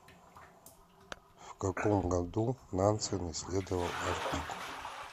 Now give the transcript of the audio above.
в каком году нансен исследовал арктику